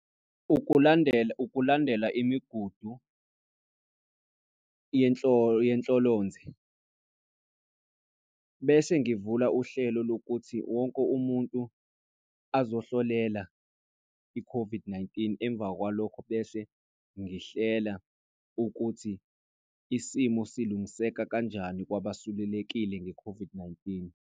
Ukulandela, ukulandela imigudu yenhlolonze bese ngivula uhlelo lokuthi wonke umuntu azohlolela i-COVID-19 emva kwalokho bese ngihlela ukuthi isimo silungiseka kanjani, kwabasulelekile nge-COVID-19.